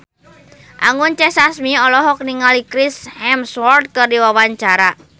Anggun C. Sasmi olohok ningali Chris Hemsworth keur diwawancara